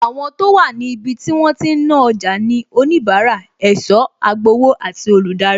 Àwọn tó wà ní ibi tí wọ́n ti ń ná ọjà ni onibara, ẹ̀sọ́, agbowó àti olùdarí